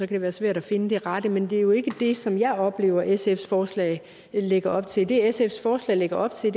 det være svært at finde de rette men det er jo ikke det som jeg oplever at sfs forslag lægger op til det sfs forslag lægger op til